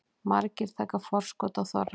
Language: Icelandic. Margir taka forskot á þorrann